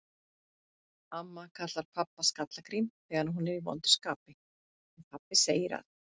Amma kallar pabba Skalla-Grím þegar hún er í vondu skapi, en pabbi segir að